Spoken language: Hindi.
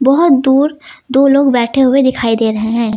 बहुत दूर दो लोग बैठे हुए दिखाई दे रहे हैं।